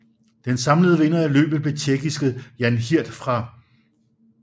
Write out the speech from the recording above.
Den samlede vinder af løbet blev tjekkiske Jan Hirt fra